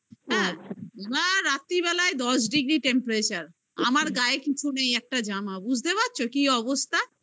এবার রাত্রিবেলায় দশ degree temperature আমার গায়ে কিছু নেই একটা জামা বুঝতে পারছো কি অবস্থা